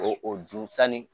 O o dun sanni